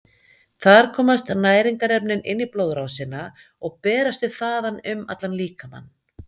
Þar komast næringarefnin inn í blóðrásina og berast þau þaðan um allan líkamann.